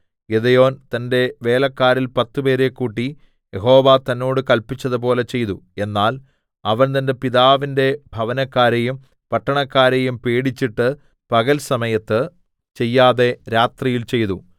Gideon തന്റെ വേലക്കാരിൽ പത്തുപേരെ കൂട്ടി യഹോവ തന്നോട് കല്പിച്ചതുപോലെ ചെയ്തു എന്നാൽ അവൻ തന്റെ പിതാവിന്റെ ഭവനക്കാരെയും പട്ടണക്കാരെയും പേടിച്ചിട്ട് പകൽ സമയത്ത് ചെയ്യാതെ രാത്രിയിൽ ചെയ്തു